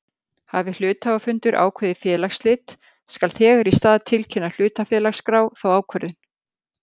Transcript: Hafi hluthafafundur ákveðið félagsslit skal þegar í stað tilkynna hlutafélagaskrá þá ákvörðun.